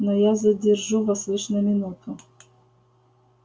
но я задержу вас лишь на минуту